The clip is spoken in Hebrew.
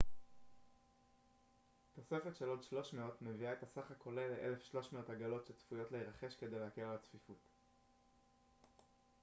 תוספת של עוד 300 מביאה את הסך הכולל ל-1300 עגלות שצפויות להירכש כדי להקל על הצפיפות